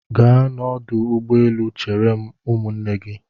Gaa n'ọdụ ụgbọelu chere ụmụnne gị!